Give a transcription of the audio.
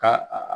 Ka a